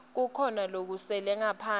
kukhona lokusele ngaphandle